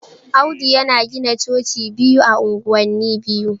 Audu yana gina Coci biyu ah anguwani biyu.